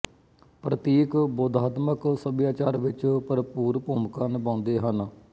ਪ੍ਤੀਕ ਬੋਧਾਤਮਿਕ ਸੱਭਿਆਚਾਰ ਵਿੱਚ ਭਰਪੂਰ ਭੂਮਿਕਾ ਨਿਭਾਉਂਦੇ ਹਨ